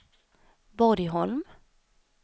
Borgholm